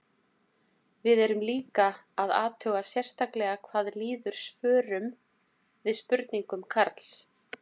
Við erum líka að athuga sérstaklega hvað líður svörum við spurningum Karls.